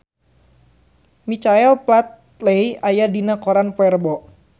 Michael Flatley aya dina koran poe Rebo